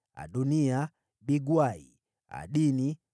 Adoniya, Bigwai, Adini,